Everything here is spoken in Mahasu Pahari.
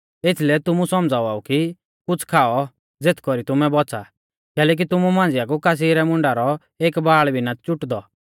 एथीलै तुमु सौमझ़ावा ऊ कि कुछ़ खाऔ ज़ेथ कौरी तुमै बौच़ा कैलैकि तुमु मांझिया कु कासी रै मुंडा रौ एक बाल़ भी ना छ़ुटदौ